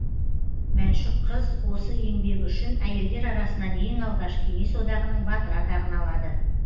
мәншүк қыз осы еңбегі үшін әйелдер арасынан ең алғаш кеңес одағының батыры атағын алады